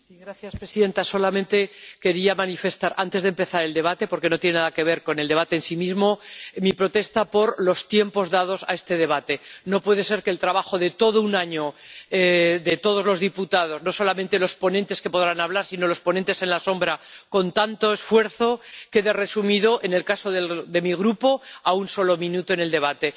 Señora presidenta, solamente quería manifestar antes de empezar el debate —porque no tiene nada que ver con el debate en sí mismo— mi protesta por los tiempos dados a este debate no puede ser que el trabajo de todo un año de todos los diputados —no solamente los ponentes, que podrán hablar, sino los ponentes alternativos—, con tanto esfuerzo, quede resumido, en el caso de mi Grupo, en un solo minuto en el debate.